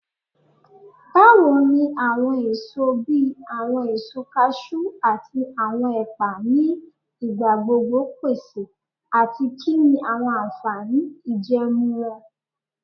Bawo ni awọn eso bi awọn eso cashew ati awọn epa ni igbagbogbo pese ati kini awọn anfani ijẹẹmu wọn?